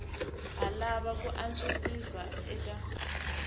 ha lava ku antswisiwa eka